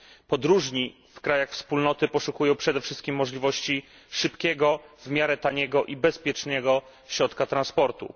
Podróżni w krajach Wspólnoty poszukują przede wszystkim możliwości szybkiego, w miarę taniego i bezpiecznego środka transportu.